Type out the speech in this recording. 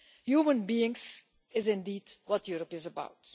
Human beings is indeed what Europe is about.